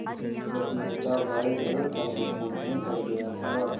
रश्मि का भाई गलत संगति में पड़ गया था